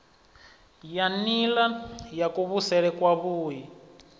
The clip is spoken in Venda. ya nila ya kuvhusele kwavhui